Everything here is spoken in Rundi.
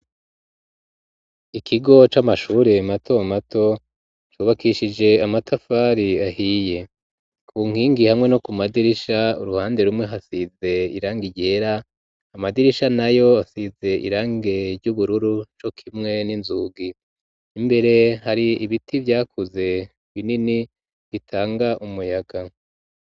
Ikigo c'amashure mato mato cubakishije amatafari ahiye ku nkingi hamwe no ku madirisha uruhande rumwe hasize irangi ryera, amadirisha nayo asize irangi ry'ubururu co kimwe n'inzugi, imbere hari ibiti vyakuze binini bitanga umuyaga.